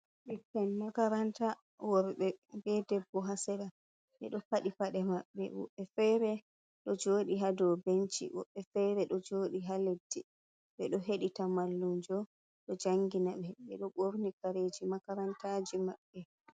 Ɓikkon makaranta worɓe, bee debbo haa sera, ɓe ɗo paɗi paɗe maɓɓe, woodii feere ɗo jooɗii haa doo benshi, woɓɓe fere ɗo jooɗii haa leɗɗi, ɓe ɗo he ɗi ta mallumjo ɗo jangina ɓe, ɓe ɗo ɓorni kareeji makarantaaji maɓɓe.